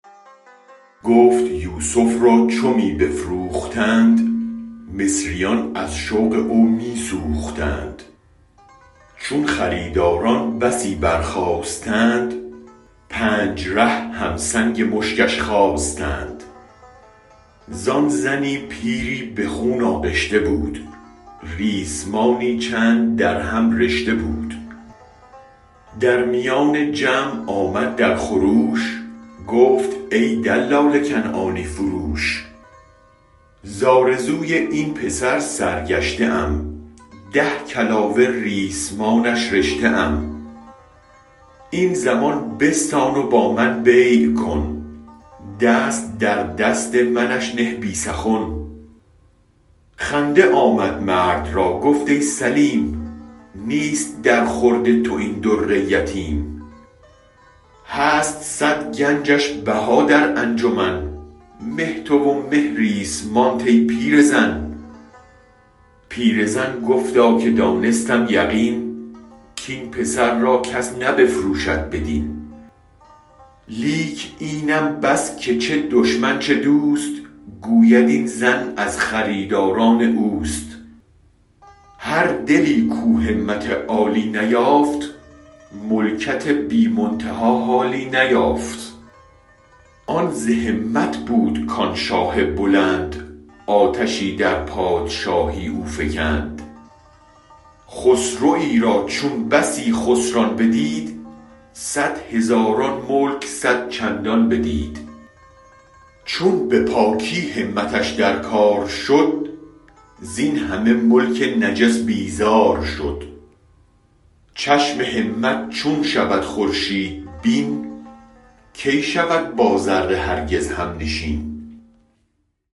گفت یوسف را چو می بفروختند مصریان از شوق او می سوختند چون خریداران بسی برخاستند پنج ره هم سنگ مشکش خواستند زان زنی پیری به خون آغشته بود ریسمانی چند در هم رشته بود در میان جمع آمد در خروش گفت ای دلال کنعانی فروش ز آرزوی این پسر سر گشته ام ده کلاوه ریسمانش رشته ام این زمن بستان و با من بیع کن دست در دست منش نه بی سخن خنده آمد مرد را گفت ای سلیم نیست درخورد تو این در یتیم هست صد گنجش بها در انجمن مه تو و مه ریسمانت ای پیرزن پیرزن گفتا که دانستم یقین کین پسر را کس بنفروشد بدین لیک اینم بس که چه دشمن چه دوست گوید این زن از خریداران اوست هر دلی کو همت عالی نیافت ملکت بی منتها حالی نیافت آن ز همت بود کان شاه بلند آتشی در پادشاهی او فکند خسروی را چون بسی خسران بدید صد هزاران ملک صدچندان بدید چون بپاکی همتش در کار شد زین همه ملک نجس بیزارشد چشم همت چون شود خورشید بین کی شود با ذره هرگز هم نشین